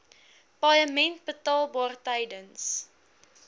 paaiement betaalbaar tydens